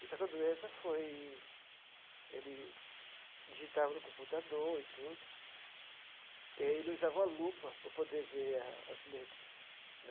Só que a doença foi... ele digitava no computador e tudo, e aí ele usava uma lupa para poder ver as letras.